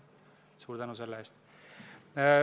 Suur tänu selle eest!